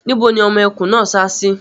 Níbo ni ọmọ ẹkùn náà sá sí?